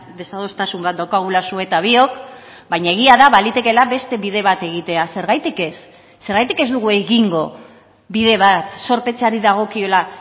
desadostasun bat daukagula zu eta biok baina egia da balitekeela beste bide bat egitea zergatik ez zergatik ez dugu egingo bide bat zorpetzeari dagokiola